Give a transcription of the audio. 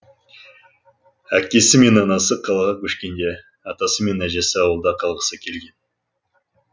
әкесі мен анасы қалаға көшкенде атасы мен әжесі ауылда қалғысы келген